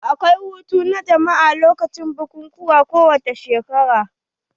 Akwai hutu na jama'a lokacin bukukuwa kowani shekara.